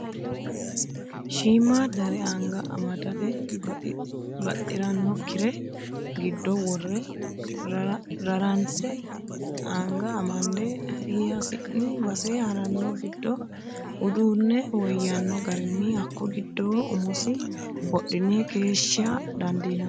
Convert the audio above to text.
Shiimadare anga amadate baxiranokkire giddo worre raranse anga amande hasi'ni base harano giddo uduune woyyano garinni hakko giddo umosi wodhine keeshshisha dandiinanni.